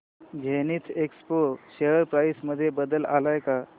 Zenith Expo share price मध्ये बदल आलाय का